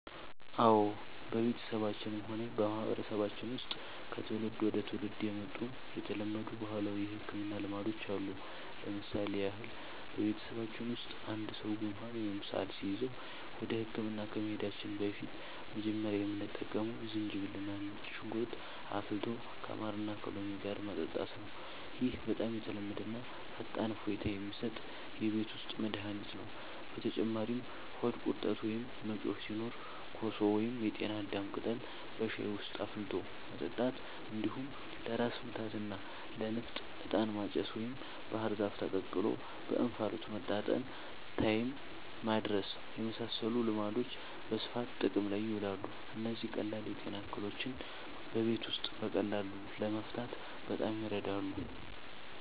አዎ፣ በቤተሰባችንም ሆነ በማህበረሰባችን ውስጥ ከትውልድ ወደ ትውልድ የመጡ የተለመዱ ባህላዊ የሕክምና ልማዶች አሉ። ለምሳሌ ያህል፣ በቤተሰባችን ውስጥ አንድ ሰው ጉንፋን ወይም ሳል ሲይዘው ወደ ሕክምና ከመሄዳችን በፊት መጀመሪያ የምንጠቀመው ዝንጅብልና ነጭ ሽንኩርት አፍልቶ ከማርና ከሎሚ ጋር መጠጣት ነው። ይህ በጣም የተለመደና ፈጣን እፎይታ የሚሰጥ የቤት ውስጥ መድኃኒት ነው። በተጨማሪም ሆድ ቁርጠት ወይም መጮህ ሲኖር ኮሶ ወይም የጤና አዳም ቅጠል በሻይ ውስጥ አፍልቶ መጠጣት፣ እንዲሁም ለራስ ምታትና ለንፍጥ «ዕጣን ማጨስ» ወይም ባህር ዛፍ ተቀቅሎ በእንፋሎት መታጠንን (ታይም ማድረስ) የመሳሰሉ ልማዶች በስፋት ጥቅም ላይ ይውላሉ። እነዚህ ቀላል የጤና እክሎችን በቤት ውስጥ በቀላሉ ለመፍታት በጣም ይረዳሉ።